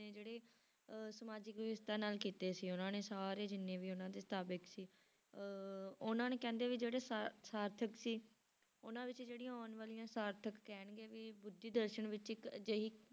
ਨੇ ਜਿਹੜੇ ਅਹ ਸਮਾਜਿਕ ਵਿਵਸਥਾ ਨਾਲ ਕੀਤੇ ਸੀ ਉਹਨਾਂ ਨੇ ਸਾਰੇ ਜਿੰਨੇ ਵੀ ਉਹਨਾਂ ਦੇ ਸੀ ਅਹ ਉਹਨਾਂ ਨੇ ਕਹਿੰਦੇ ਵੀ ਜਿਹੜੇ ਸ~ ਸਾਰਥਕ ਸੀ ਉਹਨਾਂ ਵਿੱਚ ਜਿਹੜੀਆਂ ਆਉਣ ਵਾਲੀਆਂ ਸਾਰਥਕ ਕਹਿਣਗੇ ਵੀ ਬੁੱਧੀ ਦਰਸਨ ਵਿੱਚ ਇੱਕ ਅਜਿਹੀ